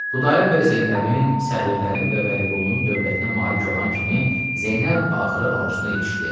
Xudayar bəy Zeynəbin, sağırların və Vəliqulunun dövlətinə malik olan kimi Zeynəb axırı arzusuna yetişdi.